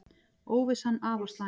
Óvissan afar slæm